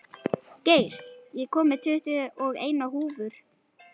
Geir, ég kom með tuttugu og eina húfur!